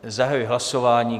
Zahajuji hlasování.